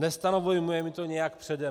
Nestanovujme jim to nějak předem.